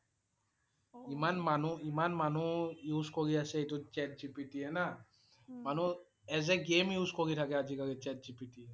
ইমান মানুহ ইমান মানুহ use কৰি আছে এইটো chat GPT না মানুহ as a game use কৰি থাকে আজি কালি chat GPT